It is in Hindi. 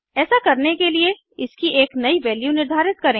ऐसा करने के लिए इसकी एक नयी वैल्यू निर्धारित करें